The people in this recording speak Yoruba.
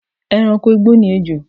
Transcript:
E̩ranko igbó ni ejò